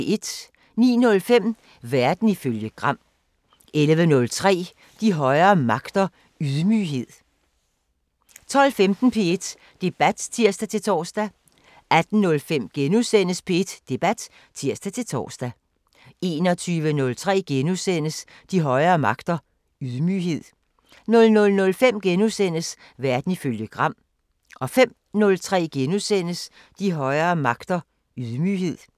09:05: Verden ifølge Gram 11:03: De højere magter: Ydmyghed 12:15: P1 Debat (tir-tor) 18:05: P1 Debat *(tir-tor) 21:03: De højere magter: Ydmyghed * 00:05: Verden ifølge Gram * 05:03: De højere magter: Ydmyghed *